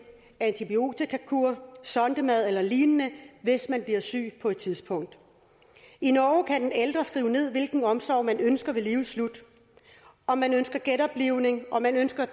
antibiotikakur sondemad eller lignende hvis man bliver syg på et tidspunkt i norge kan den ældre skrive ned hvilken omsorg man ønsker ved livets slutning om man ønsker genoplivning om man ønsker at